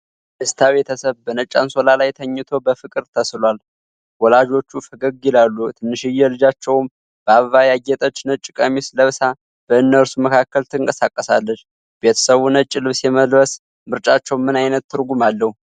የደስታ ቤተሰብ በነጭ አንሶላ ላይ ተኝቶ በፍቅር ተስሏል። ወላጆቹ ፈገግ ይላሉ፤ ትንሽዬ ልጃቸውም በአበባ ያጌጠች ነጭ ቀሚስ ለብሳ በእነርሱ መካከል ትንቀሳቀሳለች፡፡ ቤተሰቡ ነጭ ልብስ የመልበስ ምርጫቸው ምን ዓይነት ትርጉም አለው?